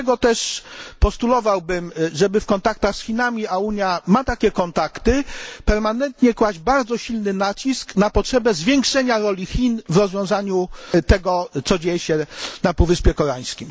Dlatego też postulowałbym, żeby w kontaktach z Chinami a Unia ma takie kontakty permanentnie kłaść bardzo silny nacisk na potrzebę zwiększenia roli Chin w rozwiązaniu tego, co się dzieje na Półwyspie Koreańskim.